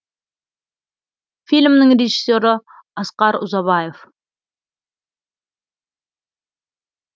фильмнің режиссері асқар ұзабаев